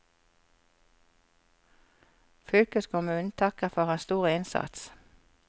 Fylkeskommunen takker for hans store innsats.